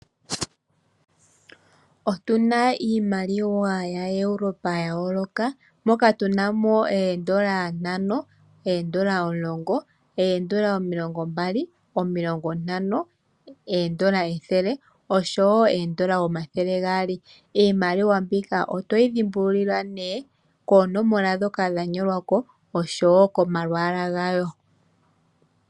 Otu na iimaliwa yaEuropa ya yooloka, moka tu na mo oondola ntano, oondola omulongo, oondola omilongo mbali, oondola omilongo ntano, oondola ethele, osho wo oondola omathele gaali. Iimaliwa mbika otoyi dhimbulula koonomola ndhoka dha nyolwa ko osho wo komalwaala gayo.